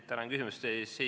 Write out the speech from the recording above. Tänan küsimuse eest!